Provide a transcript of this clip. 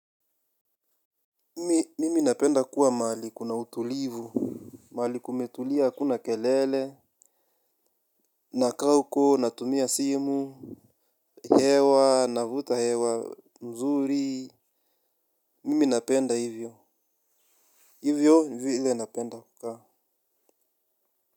Mimi napenda kuwa mahali kuna utulivu. Mahali kumetulia hakuna kelele. Nakaa huko, natumia simu. Hewa, navuta hewa, mzuri. Mimi napenda hivyo. Hivyo vile napenda kukaa.